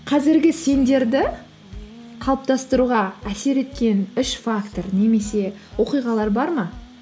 қазіргі сендерді қалыптастыруға әсер еткен үш фактор немесе оқиғалар бар ма